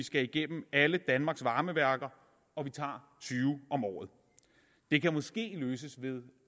skal igennem alle danmarks varmeværker og vi tager tyve om året det kan måske løses ved